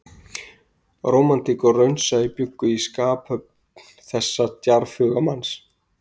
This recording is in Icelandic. Rómantík og raunsæi bjuggu í skaphöfn þessa djarfhuga manns